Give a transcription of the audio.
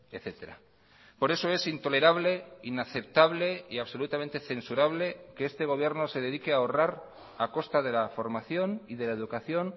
etcétera por eso es intolerable inaceptable y absolutamente censurable que este gobierno se dedique a ahorrar a costa de la formación y de la educación